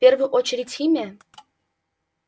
в первую очередь химия